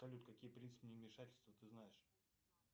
салют какие принципы невмешательства ты знаешь